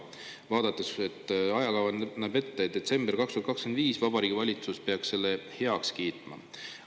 Vaadates, et ajakava näeb ette, et detsember 2025 Vabariigi Valitsus peaks selle heaks kiitma.